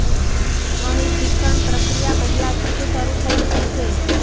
અહીં શિક્ષણ પ્રક્રિયા પહેલાથી જ શરૂ થઈ ચૂકી છે